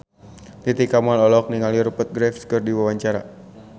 Titi Kamal olohok ningali Rupert Graves keur diwawancara